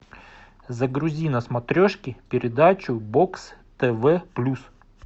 загрузи на смотрешке передачу бокс тв плюс